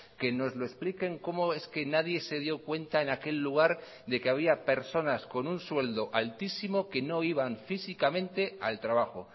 que nos lo expliquen cómo es que nadie se dio cuenta en aquel lugar de que había personas con un sueldo altísimo que no iban físicamente al trabajo